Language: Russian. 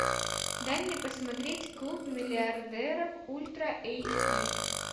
дай мне посмотреть клуб миллиардеров ультра эйч ди